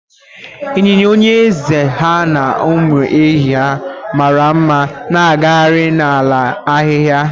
ịnyịnya onye eze ha na ụmụ ehi ya mara mma na-agagharị na ala ahịhịa